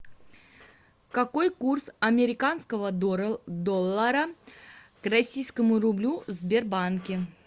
какой курс американского доллара к российскому рублю в сбербанке